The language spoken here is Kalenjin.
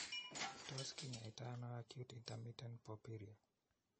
Tos kinyaaytano acute intermittent porphyria ?